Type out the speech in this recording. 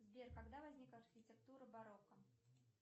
сбер когда возник архитектура барокко